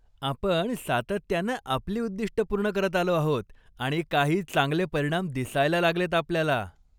आपण सातत्यानं आपली उद्दिष्टं पूर्ण करत आलो आहोत आणि काही चांगले परिणाम दिसायला लागलेत आपल्याला!